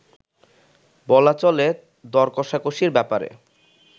বলা চলে দরকষাকষির ব্যাপারে